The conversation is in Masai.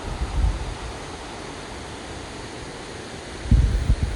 ore torishat ekuna rishat na kibungie ilmorioshi.